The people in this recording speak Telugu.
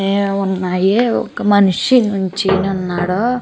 ఏ ఉన్నాయి ఒక మనిషి నుంచొని ఉన్నాడు.